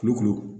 Kulukoro